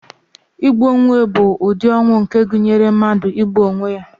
Igbu onwe bụ ụdị ọnwụ nke gụnyere mmadụ igbu onwe ya.